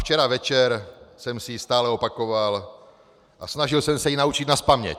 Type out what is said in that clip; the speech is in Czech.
Včera večer jsem si ji stále opakoval a snažil jsem se ji naučit nazpaměť.